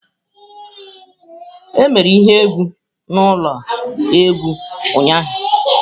E mere ihe egwu n'ụlọ egwu ụnyaahụ.